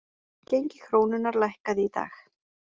Gengi krónunnar lækkaði í dag